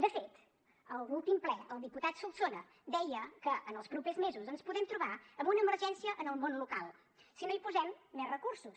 de fet en l’últim ple el diputat solsona deia que en els propers mesos ens podem trobar amb una emergència en el món local si no hi posem més recursos